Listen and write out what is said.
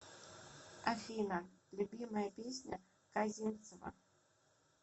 афина любимая песня козинцева